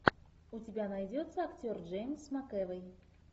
у тебя найдется актер джеймс макэвой